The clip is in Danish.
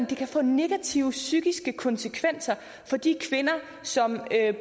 det kan få negative psykiske konsekvenser for de kvinder som